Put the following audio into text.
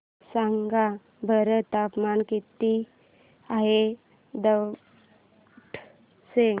सांगा बरं तापमान किती आहे दौंड चे